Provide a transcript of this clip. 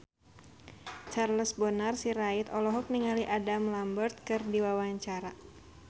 Charles Bonar Sirait olohok ningali Adam Lambert keur diwawancara